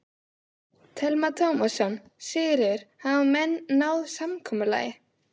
Telma Tómasson: Sigríður, hafa menn náð samkomulagi?